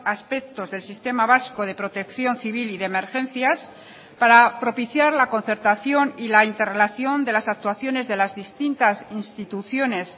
aspectos del sistema vasco de protección civil y de emergencias para propiciar la concertación y la interrelación de las actuaciones de las distintas instituciones